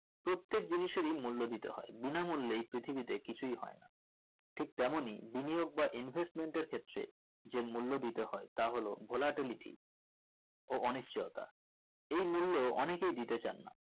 প্রত্যেক জিনিসেরি মূল্য দিতে হয় বিনা মূল্যেই পৃথিবীতে কিছুই হয় না ঠিক তেমনি বিনিয়োগ বা investment এর ক্ষেত্রে যে মূল্য দিতে হয় তা হলো ঘোলাটে লিথি ও অনিশ্চয়তা এই মূল্য অনিকেই দিতে চান না